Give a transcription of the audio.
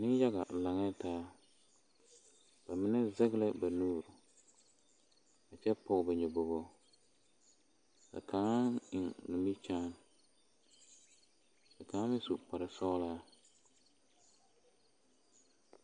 Nenyaga laŋɛɛ taa ba mine zege ba nuuri a kyɛ pɔge ba nyɔbogo ka kaŋa eŋ nimikyaani ka kaŋa meŋ su kparre sɔglaa.